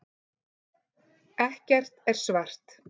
Ekkert er svart.